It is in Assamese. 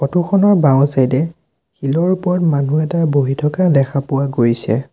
ফটো খনৰ বাওঁ চাইডে শিলৰ ওপৰত মানুহ এটা বহি থকা দেখা পোৱা গৈছে।